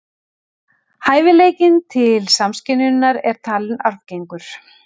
Hæfileikinn til samskynjunar er talinn arfgengur.